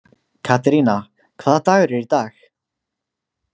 Katerína, hvaða dagur er í dag?